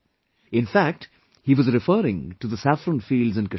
In fact, he was referring to the saffron fields in Kashmir